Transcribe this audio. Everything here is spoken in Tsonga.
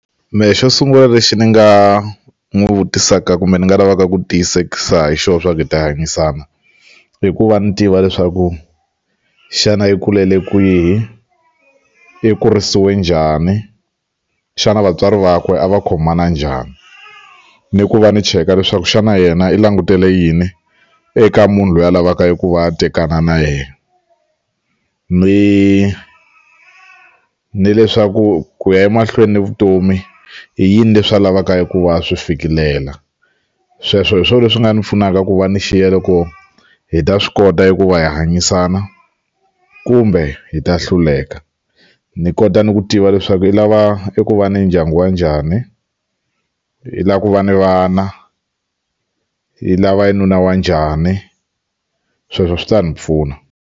Mehe xo sungula lexi ni nga n'wi vutisaka kumbe ni nga lavaka ku tiyisekisa hi xona swa ku hi ta hanyisana i ku va ni tiva leswaku xana yi kulele kwihi i kurisiwe njhani xana vatswari vakwe a va khomana njhani ni ku va ni cheka leswaku xana yena i langutele yini eka munhu loyi a lavaka ku va a tekana na yena ni ni leswaku ku ya emahlweni ni vutomi i yini leswi a lavaka hi ku va swi fikelela sweswo hi swo leswi nga ni pfunaka ku va ni xiya loko hi ta swi kota hi ku va hi hanyisana kumbe hi ta hluleka ni kota ni ku tiva leswaku i lava eku va ni ndyangu wa njhani i lava ku va ni vana i lava yi nuna wa njhani sweswo swi ta ni pfuna.